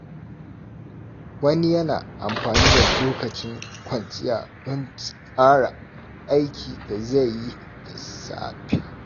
Wani yana amfani da lokacin kwanciya don tsara aikin dai zai yi da safe.